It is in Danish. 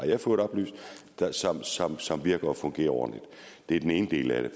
jeg fået oplyst som som fungerer ordentligt det er den ene del af det